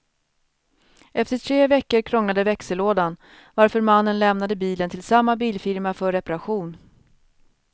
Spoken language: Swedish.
Efter tre veckor krånglade växellådan varför mannen lämnade bilen till samma bilfirma för reparation.